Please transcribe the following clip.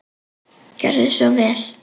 Gjörðu svo vel.